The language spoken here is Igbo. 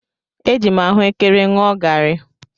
Eji m ahụekere ṅụọ garị.